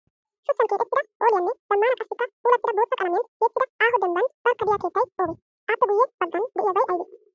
Shuchchan keexettida phooliyanne zammaana qassikka puulattida bootta qalamiyan tiyettida aaho dimbban barkka diya keettay oogee? Aappe guyye baggan diyabay ayibee?